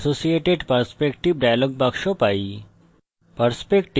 আমরা open associated perspective dialog box পাই